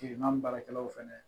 baarakɛlaw fana